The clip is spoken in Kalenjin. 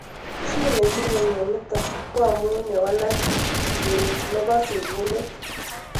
Chii netinye mionitik ko amuu ye walak gene nepo sigindet